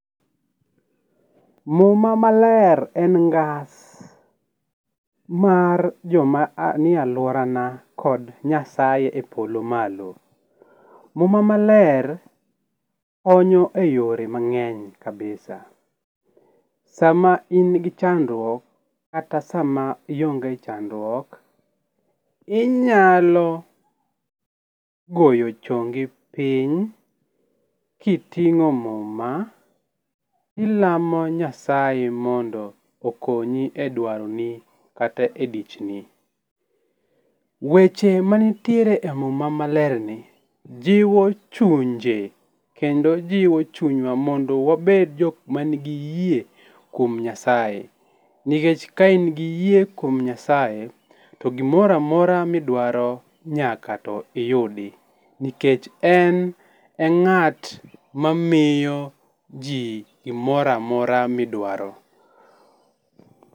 Muma maler en ngas, mar joma nie aluora na kod nyasaye e polo malo. Muma maler konyo e yore mangeny kabisa ,sama in gi chandruok kata sama ionge chandruok inyalo goyo chongi piny kitingo muma ilamo nyasaye mondo okonyi e dwaro ni kata e dichni. Weche ma nitiere e muma maler ni jiwo chunje kendo jiwo chunywa mondo wabed jokma nigi yie kuom nyasaye nikech ka in gi yie kuom nyasaye to gimoro amora ma idwaro nyaka to iyudi nikech en e ngat mamiyo jii gimoro amora midwaro